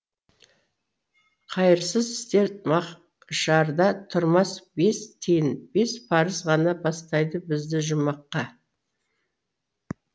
қайырсыз істер мақшарда тұрмас бес тиын бес парыз ғана бастайды бізді жұмаққа